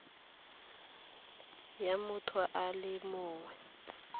ya motho a le mongwe